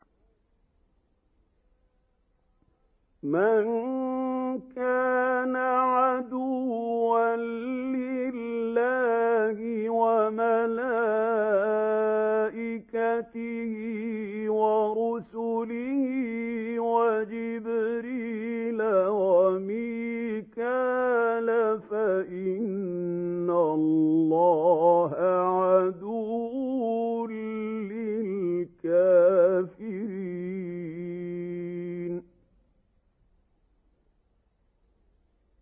مَن كَانَ عَدُوًّا لِّلَّهِ وَمَلَائِكَتِهِ وَرُسُلِهِ وَجِبْرِيلَ وَمِيكَالَ فَإِنَّ اللَّهَ عَدُوٌّ لِّلْكَافِرِينَ